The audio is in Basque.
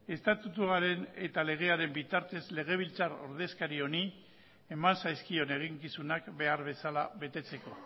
estatutuaren eta legearen bitartez legebiltzar ordezkari honi eman zaizkion eginkizunak behar bezala betetzeko